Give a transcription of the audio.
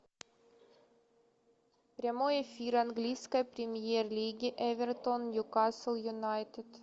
прямой эфир английской премьер лиги эвертон ньюкасл юнайтед